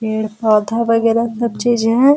पेड़-पौधा वगैरह सब चीज है।